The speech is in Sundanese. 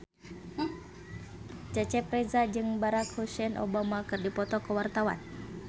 Cecep Reza jeung Barack Hussein Obama keur dipoto ku wartawan